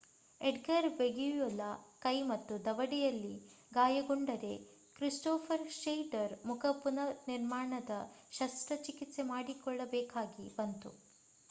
Edgar Veguilla ಕೈ ಮತ್ತು ದವಡೆಯಲ್ಲಿ ಗಾಯಗೊಂಡರೆ ಕ್ರಿಸ್ಟೋಫರ್ ಶ್ನೇಯ್ಡರ್ ಮುಖ ಪುನರ್ನಿರ್ಮಾಣದ ಶಸ್ತ್ರಚಿಕಿತ್ಸೆ ಮಾಡಿಸಿಕೊಳ್ಳಬೇಕಾಗಿ ಬಂತು